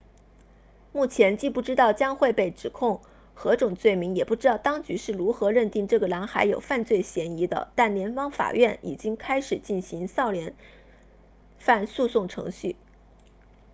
目前既不知道将会被指控何种罪名也不知道当局是如何认定这个男孩有犯罪嫌疑的但联邦法院已经开始进行少年犯诉讼程序